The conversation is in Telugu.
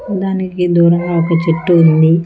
దానికి దూరంగా ఒక చెట్టు ఉంది.